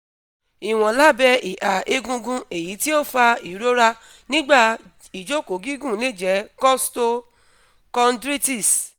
iwọn labẹ iha egungun eyiti o fa irora nigba ijoko gigun le jẹ costo-chondritis